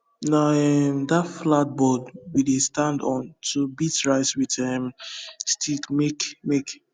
na um that flat board we dey stand on to beat rice with um stick make make